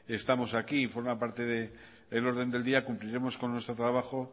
estamos aquí y forma parte del orden del día cumpliremos con nuestro trabajo